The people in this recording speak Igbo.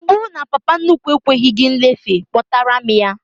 Ọ bụrụ na papa nnukwu ekweghị gị nlefe, kpọtara m ya!